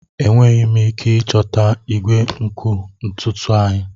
Enweghị m ike ịchọta igwe nkụ ntutu anyị.